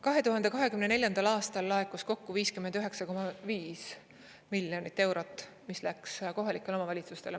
2024. aastal laekus kokku 59,5 miljonit eurot, mis läks kohalikele omavalitsustele.